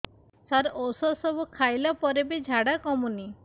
ସାର ଔଷଧ ସବୁ ଖାଇଲା ପରେ ବି ଝାଡା କମୁନି